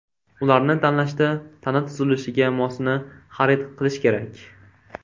Ularni tanlashda tana tuzilishiga mosini xarid qilish kerak.